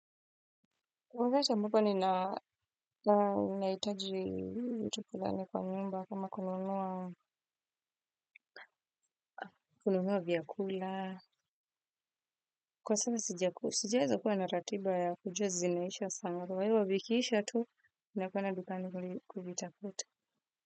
Kwaweza mbupa ni naitaji mtu kulani kwa nyumba kama kununuwa viyakula. Kwa sasa sijaweza kuwa na ratiba ya kujua zinaisha sana. Kwa hivyo vikiisha tu, ninakwenda dukani kuvitafuta.